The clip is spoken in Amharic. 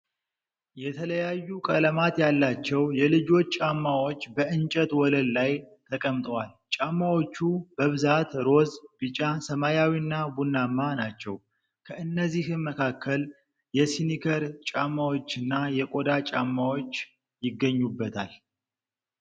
የተለያዩ ቀለማት ያላቸው የልጆች ጫማዎች በእንጨት ወለል ላይ ተቀምጠዋል። ጫማዎቹ በብዛት ሮዝ፣ ቢጫ፣ ሰማያዊና ቡናማ ናቸው፣ ከእነዚህም መካከል የስኒከር ጫማዎችና የቆዳ ጫማዎች ይገኙበታል።